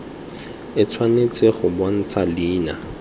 e tshwanetse go bontsha leina